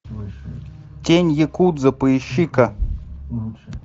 тень якудзы поищи ка